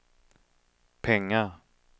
pengar